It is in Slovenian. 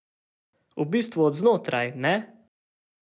V bistvu od znotraj, ne?